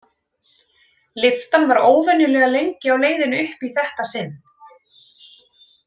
Lyftan var óvenjulega lengi á leiðinni upp í þetta sinn.